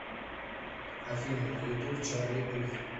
афина на ютуб чарли пух